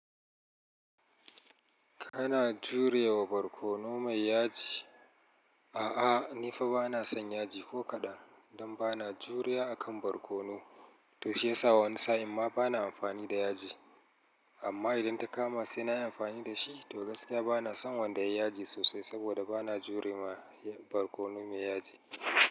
Kana jure wa barkono mai yaji? A'a, ni fa bana son yaji ko kaɗan. Don bana juriya a kan barkono, to shi ya sa wa wani sa'in ma bana amfani da yaji. Amma idan ta kama sai na yi amfani da shi, to gaskiya bana son wanda yayi yaji sosai saboda bana jure ma barkono mai yaji.